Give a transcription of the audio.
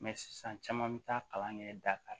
sisan caman bi taa kalan kɛ dakari